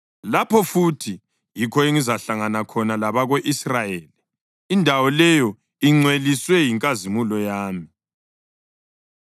Lapho futhi yikho engizahlangana khona labako-Israyeli, indawo leyo ingcweliswe yinkazimulo yami.